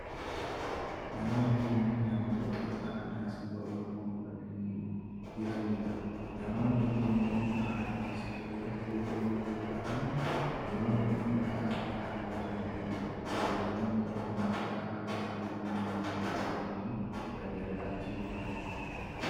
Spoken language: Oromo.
Namoonni kunneen namoota uffata aadaa saba Oromoo uffatanii jiraniidha. Namoonni kunneen aartistoota sirbaa yoo ta'an, dhiironni uffata aadaa haalluu adii qabu dubartoonni immoo uffata aadaa haalluu diimaa qabu uffatanii ragadaa fi sirbaa jiru.